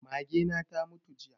Mage na ta mutu jiya